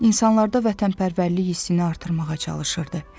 İnsanlarda vətənpərvərlik hissini artırmağa çalışırdı.